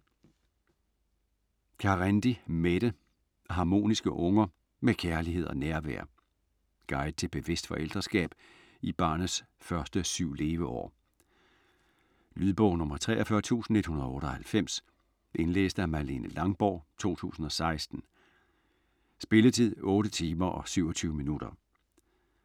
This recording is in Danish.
Carendi, Mette: Harmoniske unger: med kærlighed og nærvær Guide til bevidst forældreskab i barnets første syv leveår. Lydbog 43198 Indlæst af Malene Langborg, 2016. Spilletid: 8 timer, 27 minutter.